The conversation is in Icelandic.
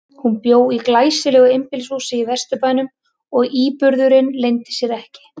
Hún bjó í glæsilegu einbýlishúsi í Vesturbænum og íburðurinn leyndi sér ekki.